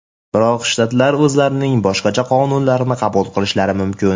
Biroq shtatlar o‘zlarining boshqacha qonunlarini qabul qilishlari mumkin.